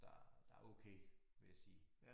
Så der der okay vil jeg sige